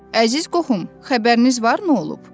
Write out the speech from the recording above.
Əziz qohum, xəbəriniz var, nə olub?